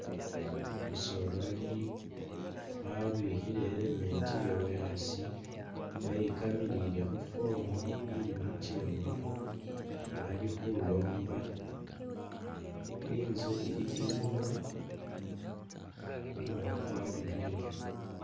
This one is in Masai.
Umusoleri wabikhile i' helmet yewe asii weyikamilile khu'form ili khuchewa alikhulomba, inzu ili inyuma, kumumu kwarurileyo